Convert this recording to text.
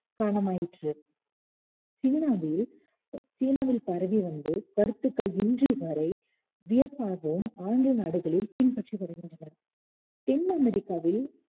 காரணம் ஆயிற்று சீனாவில் பரவி வந்து கருத்துக்கள் இன்று வரை வியப்பாகவும் ஆங்கில நாடுகளில் பின்பற்றி வருகின்றனர் தென் அமெரிக்காவில்